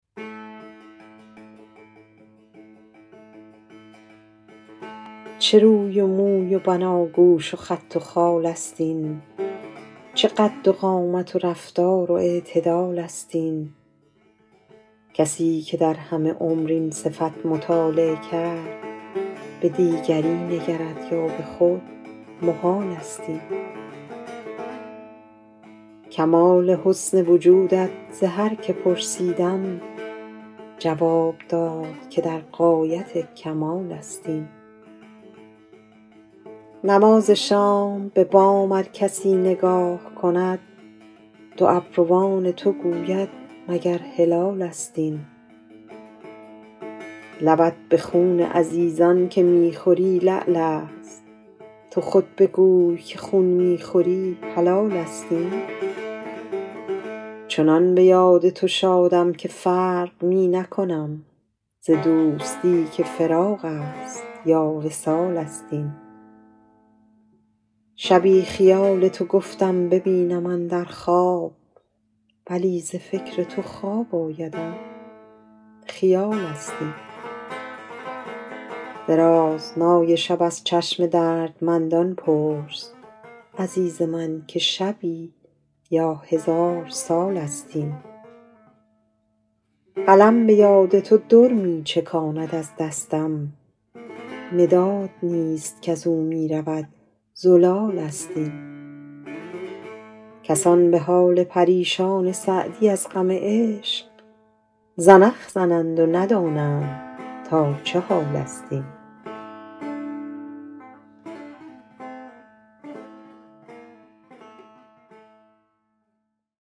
چه روی و موی و بناگوش و خط و خال است این چه قد و قامت و رفتار و اعتدال است این کسی که در همه عمر این صفت مطالعه کرد به دیگری نگرد یا به خود محال است این کمال حسن وجودت ز هر که پرسیدم جواب داد که در غایت کمال است این نماز شام به بام ار کسی نگاه کند دو ابروان تو گوید مگر هلالست این لبت به خون عزیزان که می خوری لعل است تو خود بگوی که خون می خوری حلال است این چنان به یاد تو شادم که فرق می نکنم ز دوستی که فراق است یا وصال است این شبی خیال تو گفتم ببینم اندر خواب ولی ز فکر تو خواب آیدم خیال است این درازنای شب از چشم دردمندان پرس عزیز من که شبی یا هزار سال است این قلم به یاد تو در می چکاند از دستم مداد نیست کز او می رود زلال است این کسان به حال پریشان سعدی از غم عشق زنخ زنند و ندانند تا چه حال است این